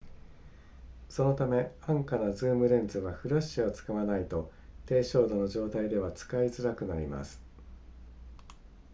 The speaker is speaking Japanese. そのため安価なズームレンズはフラッシュを使わないと低照度の状態では使いづらくなります